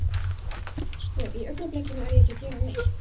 Sko. í augnablikinu er ég ekki að gera neitt.